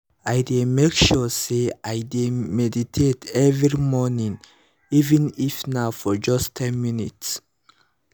i dey make sure say i meditate every morning even if na for just ten minutes